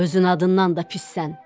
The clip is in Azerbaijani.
Özün adından da pissən.